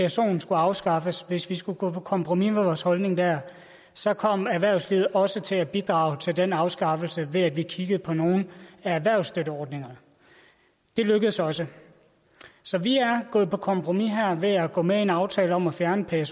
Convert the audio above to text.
psoen skulle afskaffes hvis vi skulle gå på kompromis med vores holdning dér så kom erhvervslivet også til at bidrage til den afskaffelse ved at vi kiggede på nogle af erhvervsstøtteordningerne det lykkedes også så vi er gået på kompromis her ved at gå med i en aftale om at fjerne psoen